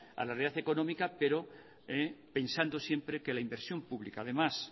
a la realidad económica pero pensando siempre que la inversión pública además